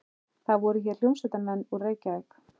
Það voru hér hljómsveitarmenn úr Reykjavík.